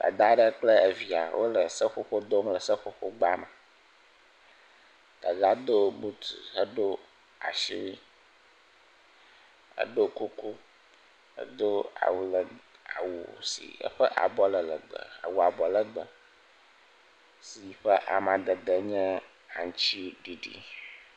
Dada aɖe kple via wole seƒoƒo dom ɖe seƒoƒogbame dada do buti do asiwui eɖɔ kuku edo awu si eƒe abɔ le legbe awu abɔlegbe si ƒe amadede nye aŋtiɖiɖi